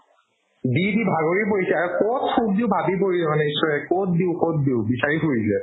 দি দি ভাগৰি পৰিছে আৰু ক'ত সুখ দিও ভাবি পৰিছে মানে ঈশ্বৰে ক'ত দিও ক'ত দিও বিচাৰি ফুৰিছে